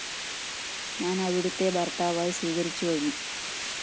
ഞാന്‍ അവിടുത്തെ ഭര്‍ത്താവായി സ്വീകരിച്ചു കഴിഞ്ഞു